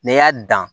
N'i y'a dan